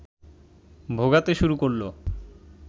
ভোগাতে শুরু করল